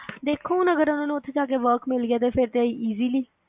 ਵੇਖੋ ਹੁਣ ਅਗਰ ਉਨ੍ਹਾਂ ਨੂੰ ਉੱਥੇ ਜਾ ਕੇ Work ਮਿਲ ਗਿਆ ਤੇ ਫਿਰ ਤਾ Easily ਲਈ